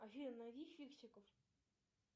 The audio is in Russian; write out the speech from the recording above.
афина найди фиксиков